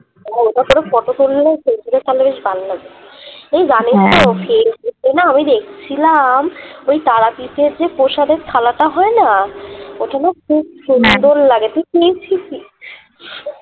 ও তা তোরা photo তুললেও তো এই ফেইসবুক এ না আমি দেখছিলাম ওই তারাপীঠের যে প্রসাদের থালাটা হয় না ওটা না খুব লাগে